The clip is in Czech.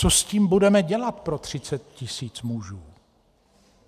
Co s tím budeme dělat pro 30 tisíc mužů?